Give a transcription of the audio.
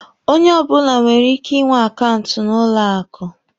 Onye ọbụla nwere ike ị nwe akaụntụ n'ụlọ akụ.